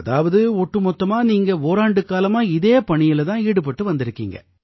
அதாவது ஒட்டுமொத்தமா நீங்க ஓராண்டுக் காலமா இதே பணியில தான் ஈடுபட்டு வந்திருக்கீங்க